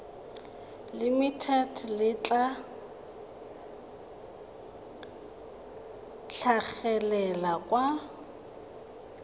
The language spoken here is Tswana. limited le tla tlhagelela kwa